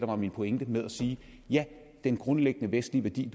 var min pointe med at sige ja den grundlæggende vestlige værdi